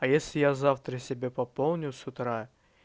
а если я завтра себе пополню с утра